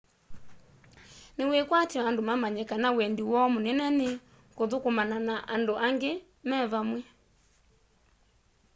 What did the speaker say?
ni wikwatyo andu mamanye kana wendi woo munene ni kuthukumana na andu angi me vamwe